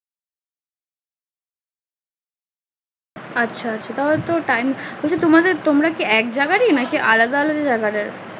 আচ্ছা আচ্ছা তাহলে একটু time বলছে তোমাদের তোমরা কিএক জায়গায়রি নাকি আলাদা আলাদা জায়গার